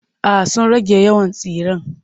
Ay sun rage yawan tsiren.